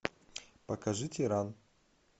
покажи тиран